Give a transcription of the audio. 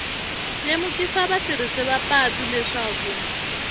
lemukisa vatirhisi va patu leswaku